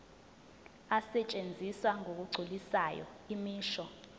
asetshenziswa ngokugculisayo imisho